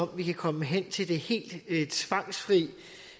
vi kan komme hen til det helt tvangsfrie